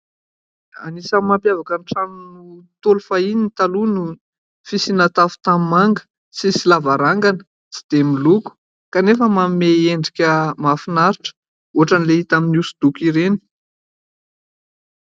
Anisany mampiavaka ny trano Ntaolo fahiny taloha ny fisiana tafo tanimanga, tsy misy lavarangana, tsy dia miloko, kanefa manome endrika mahafinaritra ohatran' ilay hita amin'ny hosodoko ireny.